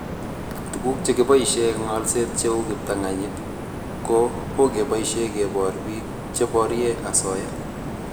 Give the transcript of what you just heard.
Tuguk che keboishe eng' ngalset cheu kiptanganyit ko keboishe kebor piik che porie asoya